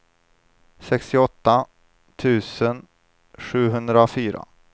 sextioåtta tusen sjuhundrafyra